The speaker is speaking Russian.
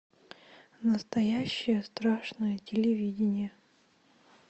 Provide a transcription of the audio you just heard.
настоящее страшное телевидение